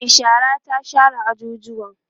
Mai shara ta share ajujuwan